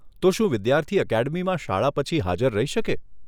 તો શું વિદ્યાર્થી એકેડમીમાં શાળા પછી હજાર રહી શકે?